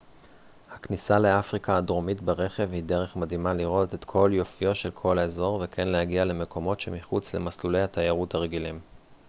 הכניסה לאפריקה הדרומית ברכב היא דרך מדהימה לראות את כל יופיו של האזור וכן להגיע למקומות שמחוץ למסלולי התיירות הרגילים